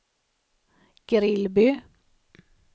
Grillby